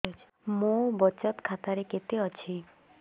ମୋ ବଚତ ଖାତା ରେ କେତେ ଅଛି